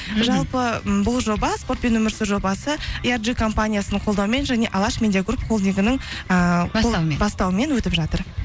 жалпы м бұл жоба спортпен өмір сүр жобасы компаниясының қолдауымен және алаш медиагруп холдингінің ііі бастауымен өтіп жатыр